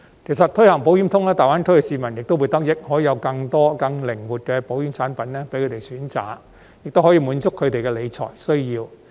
其實，推行"保險通"亦會令大灣區的市民得益，因為既可有更多更靈活的保險產品供他們選擇，也可以滿足他們的理財需要。